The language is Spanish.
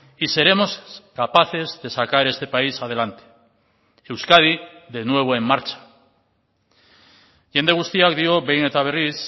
y seremos capaces de sacar este país adelante euskadi de nuevo en marcha jende guztiak dio behin eta berriz